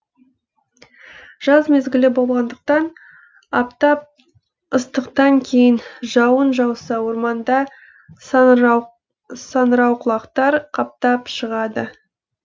жаз мезгілі болғандықтан аптап ыстықтан кейін жауын жауса орманда саңырауқұлақтар қаптап шығады